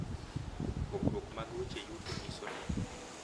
Pogruok mag weche yuto nyiso ni